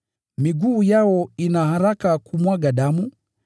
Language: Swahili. “Miguu yao ina haraka kumwaga damu;